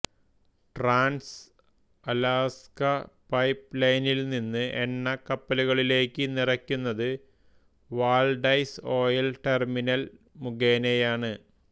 Trans-Alaska pipe ലൈനിൽ നിന്നുള്ള എണ്ണ കപ്പലുകളിലേയ്ക്ക് നിറയ്ക്കുന്നത് വാൽഡെസ് ഓയിൽ ടെർമിനൽ മുഖേനയാണ്